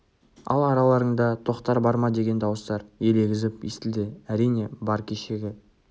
ал араларыңда тоқтар бар ма деген дауыстар елегізіп естілді әрине бар кешегі